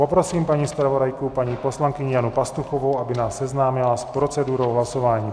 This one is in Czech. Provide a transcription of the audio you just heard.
Poprosím paní zpravodajku, paní poslankyni Janu Pastuchovou, aby nás seznámila s procedurou hlasování.